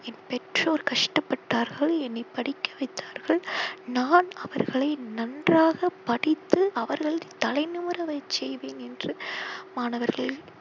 என் பெற்றோர் கஷ்டபட்டார்கள் என்னை படிக்க வைத்தார்கள் நான் அவர்களை நன்றாக படித்து அவர்கள் தலை நிமிர செய்வேன் என்று மாணவர்கள்